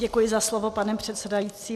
Děkuji za slovo, pane předsedající.